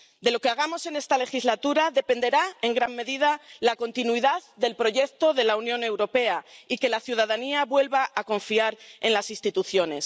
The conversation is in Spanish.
De lo que hagamos en esta legislatura dependerá en gran medida la continuidad del proyecto de la Unión Europea y que la ciudadanía vuelva a confiar en las instituciones.